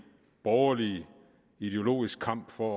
borgerlig ideologisk kamp for